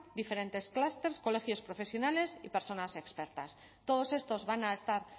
diferentes clúster colegios profesionales y personas expertas todos estos van a estar